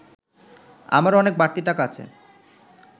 আমার অনেক বাড়তি টাকা আছে